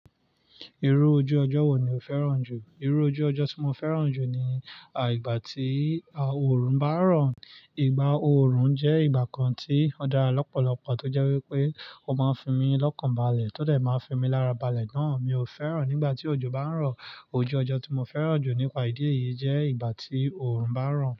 Irú ojú ọjọ́ wo ni o fẹ́ràn jù? Irú ojú ọjọ́ tí mo fẹ́ràn jù ni, àì ìgbà tí òòrùn bá ń rọ̀. Ìgbà òòrùn jẹ́ ìgbà kan tí ó dára lọ́pọ̀lọpọ̀ tó jẹ́ wípé ó máa ń fi mi lọ́kàn balẹ̀, tótẹ̀ máa ń fi mi lára balẹ̀ náà. Mi ò fẹ́ràn nígbà tí òjò bá ń rọ̀. Ojú ọjọ́ tí mo fẹ́ràn jù nípa ìdí èyí jẹ́ ìgbà tí òòrùn bá ń rọ̀.